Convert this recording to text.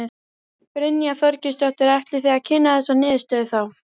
Brynja Þorgeirsdóttir: Ætlið þið að kynna þessa niðurstöðu þá?